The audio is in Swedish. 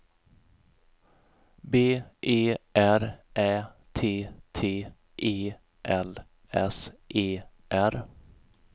B E R Ä T T E L S E R